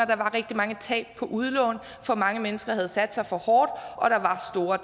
der var rigtig mange tab på udlån for mange mennesker havde sat sig for hårdt og der var store